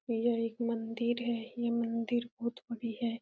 यह एक मंदिर है। ये मंदिर बहुत बड़ी है।